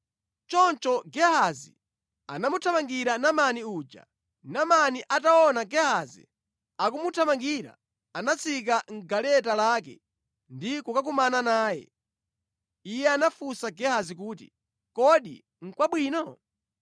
Choncho Gehazi anamuthamangira Naamani uja. Naamani ataona Gehazi akumuthamangira, anatsika mʼgaleta lake ndi kukakumana naye. Iye anafunsa Gehazi kuti, “Kodi nʼkwabwino?”